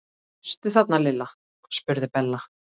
Ertu þarna Lilla? spurði Bella.